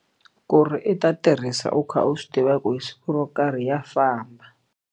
Ku ri i ta tirhisa u kha u swi tiva ku hi siku ro karhi ya famba.